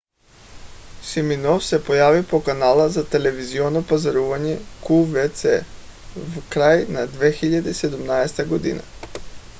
симиноф се появи по канала за телевизионно пазаруване qvc в края на 2017 г